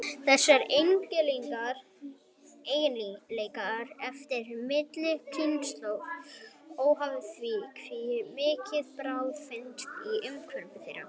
Þessir eiginleikar erfast milli kynslóða, óháð því hve mikil bráð finnst í umhverfi þeirra.